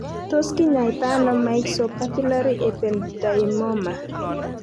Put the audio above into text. Tos kinyaita ano myxopapillary ependymoma?